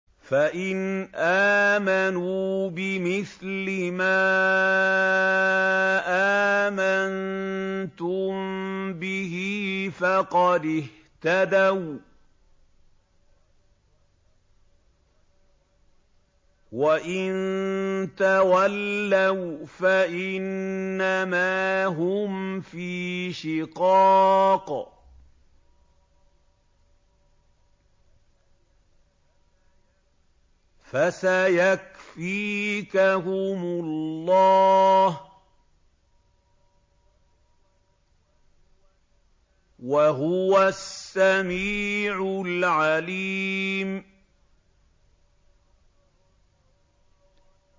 فَإِنْ آمَنُوا بِمِثْلِ مَا آمَنتُم بِهِ فَقَدِ اهْتَدَوا ۖ وَّإِن تَوَلَّوْا فَإِنَّمَا هُمْ فِي شِقَاقٍ ۖ فَسَيَكْفِيكَهُمُ اللَّهُ ۚ وَهُوَ السَّمِيعُ الْعَلِيمُ